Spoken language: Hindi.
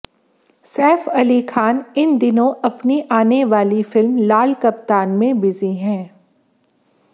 सैफ अली खान इन दिनों अपनी आने वाली फिल्म लाल कप्तान में बिजी हैं